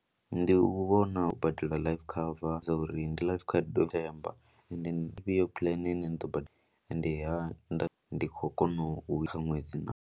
Ndi u vhona u badela life cover dza uri ndi life cover ine ndi yone plan ni ḓo badela ende ha nda ndi khou kona u kha ṅwedzi naa.